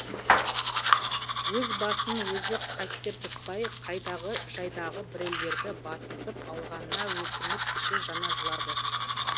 өз басын өзі қастер тұтпай қайдағы жайдағы біреулерді басынтып алғанына өкініп іші жана жылады